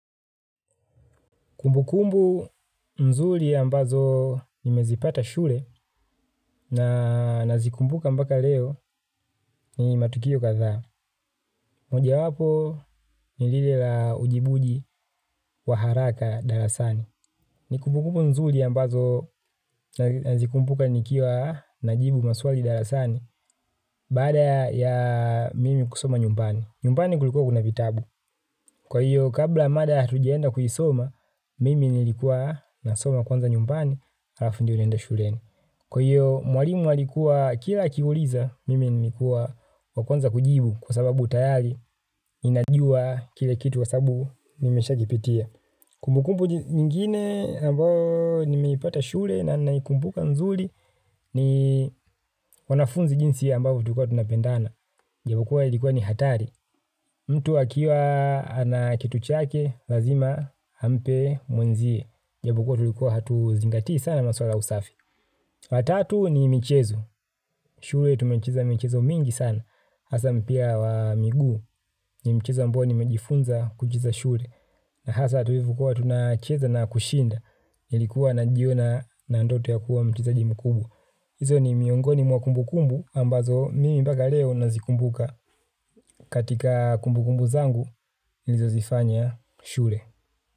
Kumbukumbu mzuri ambazo nimezipata shule na nazikumbuka mpaka leo ni matukio kadhaa. Moja wapo ni lile la ujibuji wa haraka darasani. Ni kumbukumbu mzuri ambazo nazikumbuka nikiwa najibu maswali darasani baada ya mimi kusoma nyumbani. Nyumbani kulikuwa kuna vitabu. Kwa hiyo kabla mada hatujaenda kuisoma, mimi nilikuwa nasoma kwanza nyumbani alafu ndio naenda shuleni. Kwa hiyo mwalimu alikuwa kila akiuliza, mimi nilikuwa wa kwanza kujibu kwa sababu tayari ninajua kile kitu kwa sababu nimesha kipitia. Kumbukumbu nyingine ambayo nimeipata shule na naikumbuka nzuri ni wanafunzi jinsi ambavyo tulikua tunapendana. Ni ukweli ilikuwa ni hatari. Mtu akiwa anakitu chake lazima ampe mwenzie. Japo kuwa tulikuwa hatu zingatii sana maswala ya usafi. Watatu ni michezo. Shule tumecheza michezo mingi sana. Hasa mpira wa miguu ni michezo ambayo nimejifunza kucheza shule. Na hasa tulivo kuwa tunacheza na kushinda nilikuwa najiona na ndoto ya kuwa mchezaji mkubwa, hizo ni miongoni mwa kumbukumbu ambazo mimi mpaka leo nazikumbuka katika kumbukumbu zangu nilizo zifanya shule.